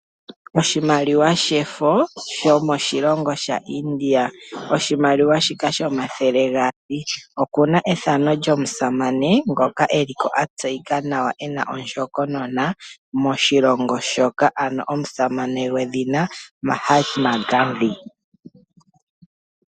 Oshimaliwa shefo shomoshilongo shaIndia oshimaliwa shika shomathele gaali oku na ethano lyomusamane ngoka a tseyika nawa, e na ondjokonona moshilongo shoka, omusamane gwedhina MAHTMA GANDHI.